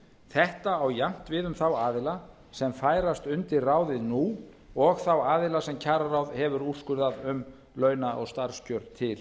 þetta á jafnt við um þá aðila sem færast undir ráðið nú og þá aðila sem kjararáð hefur úrskurðað um launa og starfskjör til